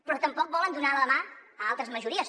però tampoc volen donar la mà a altres majories